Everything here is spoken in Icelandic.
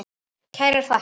Kærar þakkir